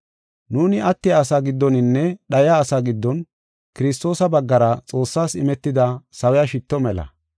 Nuuni attiya asaa giddoninne dhayiya asaa giddon Kiristoosa baggara Xoossas imetida sawiya shitto mela.